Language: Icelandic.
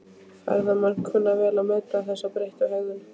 Ferðamenn kunna vel að meta þessa breyttu hegðun.